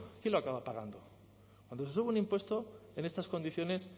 quién lo acaba pagando cuando se sube un impuesto en estas condiciones